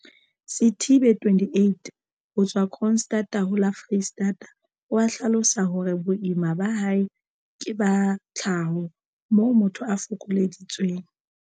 Sithibe 28 ho tswa Kroonstad ho la Foreistata, o a hlalosa hore boemo ba hae ke ba tlhaho, moo motho a fokolleditsweng